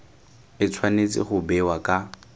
e tshwanetse go bewa ka